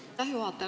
Aitäh, juhataja!